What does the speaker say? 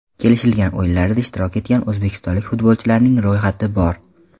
Kelishilgan o‘yinlarda ishtirok etgan o‘zbekistonlik futbolchilarning ro‘yxati bor!